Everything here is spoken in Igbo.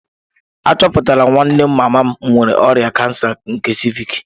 Achọpụtala nwanne mama m nwere ọrịa kansa nke ciivịc